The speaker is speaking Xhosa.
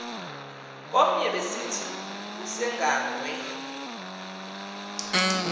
kwenye besithi usonyangwe